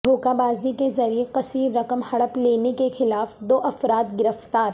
دھوکہ بازی کے ذریعہ کثیر رقم ہڑپ لینے کے خلاف دو افراد گرفتار